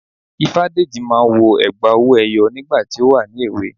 Ifádẹ́jì máa n wọ ègbá owó eyó nígbà tí o wà ní èwè